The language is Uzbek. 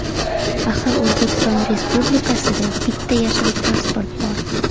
Axir O‘zbekiston Respublikasida bitta yashil pasport bor.